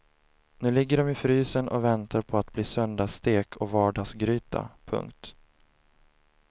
Nu ligger de i frysen och väntar på att bli söndagsstek och vardagsgryta. punkt